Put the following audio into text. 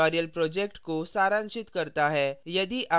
यह spoken tutorial project को सारांशित करता है